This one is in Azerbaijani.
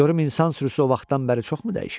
Görüm insan sürüsü o vaxtdan bəri çoxmu dəyişib?